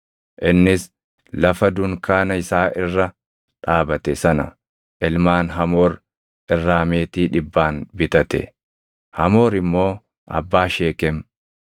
Innis lafa dunkaana isaa irra dhaabate sana ilmaan Hamoor irraa meetii dhibbaan bitate; Hamoor immoo abbaa Sheekem.